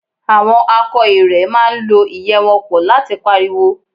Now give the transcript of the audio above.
Àwọn akọ ìrẹ̀ máa ń lọ́ ìyẹ́ wọn pọ̀ láti pariwo